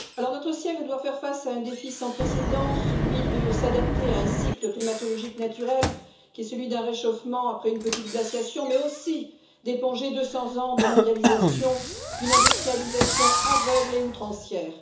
Notre siècle doit faire face à un défi sans précédent, celui de s'adapter à un cycle climatologique naturel qui est celui d'un réchauffement après une petite glaciation, mais aussi d'éponger 200 ans de mondialisation, d'une industrialisation aveugle et outrancière.